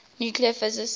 nuclear physics